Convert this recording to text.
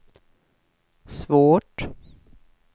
svårt